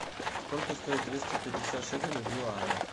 сколько стоит двести пятьдесят шекелей в юанях